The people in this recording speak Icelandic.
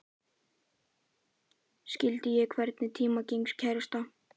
Skyldi ég einhvern tíma eignast kærasta?